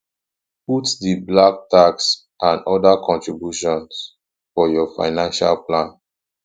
put di black tax and other contributions for your financial plan